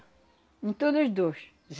Em todos os dois.